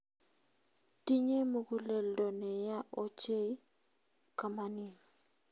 Tinyei muguleldo neya ochei kamanin